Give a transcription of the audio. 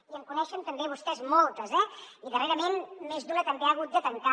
i en coneixen també vostès moltes eh i darrerament més d’una també ha hagut de tancar